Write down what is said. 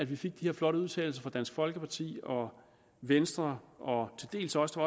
vi fik de her flotte udtalelser fra dansk folkeparti og venstre og til dels også